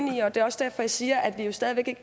i og det er også derfor jeg siger at vi stadig væk ikke